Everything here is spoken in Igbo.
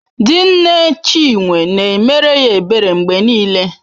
Di nne Chinwe na-emere ya ebere mgbe niile.